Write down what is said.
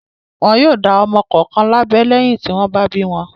Wọn yóò dá ọmọ kọ̀ọ̀kan lábẹ́ lẹ́yìn tí wọ́n bá bí wọn.